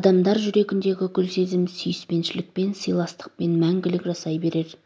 адамдар жүрегіндегі гүл-сезім сүйіспеншілікпен сыйластықпен мәңгілік жасай берер